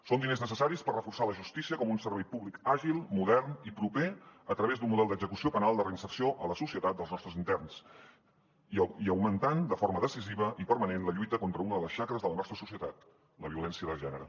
són diners necessaris per reforçar la justícia com un servei públic àgil modern i proper a través d’un model d’execució penal de reinserció a la societat dels nostres interns i augmentant de forma decisiva i permanent la lluita contra una de les xacres de la nostra societat la violència de gènere